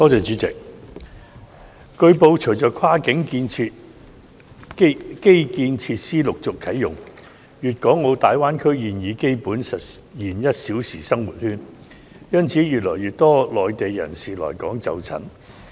主席，據報，隨着跨境基建設施陸續啟用，粵港澳大灣區現已基本實現"一小時生活圈"，因此越來越多內地人士來港就診。